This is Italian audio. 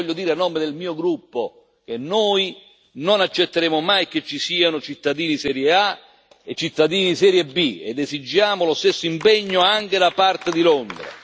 E io voglio dire a nome del mio gruppo che noi non accetteremo mai che ci siano cittadini di serie A e cittadini di serie B ed esigiamo lo stesso impegno anche da parte di Londra.